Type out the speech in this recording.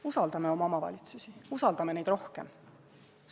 Usaldame oma omavalitsusi, usaldame neid rohkem!